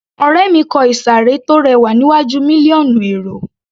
Ọ̀rẹ́ mi kò ìsàré tó rẹwà níwájú mílíọ̀nù èrò